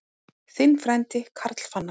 Þinn frændi, Karl Fannar.